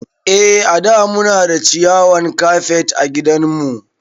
Eh a da Muna da ciyawan kafet ã gidan mu.